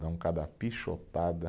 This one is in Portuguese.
Dão cada pichotada.